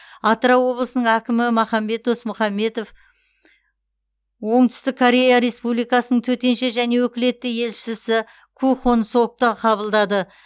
атырау облысының әкімі махамбет досмұхамбетов оңтүстік корея республикасының төтенше және өкілетті елшісі ку хонг сокты қабылдады